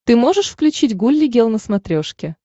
ты можешь включить гулли гел на смотрешке